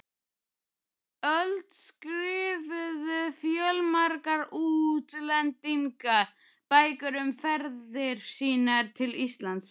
öld skrifuðu fjölmargir útlendingar bækur um ferðir sínar til Íslands.